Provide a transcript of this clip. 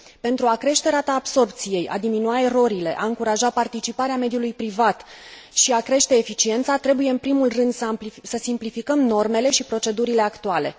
Pentru a crește rata absorbției, a diminua erorile, a încuraja participarea mediului privat și a crește eficiența trebuie în primul rând să simplificăm normele și procedurile actuale.